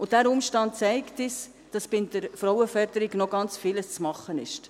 Dieser Umstand zeigt uns, dass bei der Frauenförderung noch ganz vieles zu machen ist.